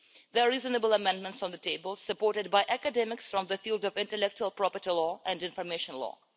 There are reasonable amendments on the table, supported by academics from the field of intellectual property law and information law.